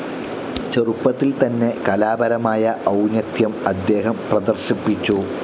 ചെറുപ്പത്തിൽ തന്നെ കലാപരമായ ഔന്നത്യം അദ്ദേഹം പ്രദർശിപ്പിച്ചു.